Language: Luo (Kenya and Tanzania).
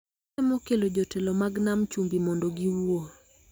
Atemo kelo jotelo mag Nam Chumbi mondo giwuo